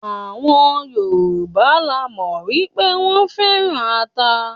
Àwọn Yorùbá la mọ̀ wípé wón féràn ata.